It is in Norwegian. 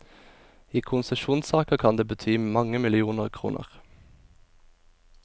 I konsesjonssaker kan det bety mange millioner kroner.